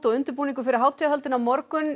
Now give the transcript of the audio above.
undirbúningur fyrir hátíðahöldin á morgun